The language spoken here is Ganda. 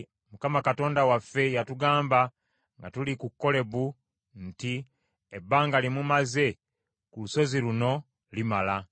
“ Mukama Katonda waffe yatugamba nga tuli ku Kolebu nti, ‘Ebbanga lye mumaze ku lusozi luno limala;